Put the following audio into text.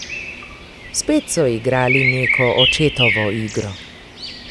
Spet so igrali neko očetovo igro.